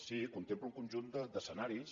sí contempla un conjunt d’escenaris